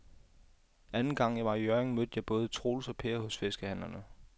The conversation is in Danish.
Anden gang jeg var i Hjørring, mødte jeg både Troels og Per hos fiskehandlerne.